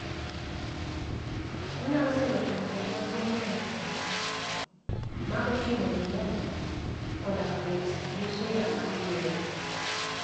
onyalo kelo chanduok maduong' ne nyithindo, ma oting'o pneumonia koda bet gi shida mar yueyo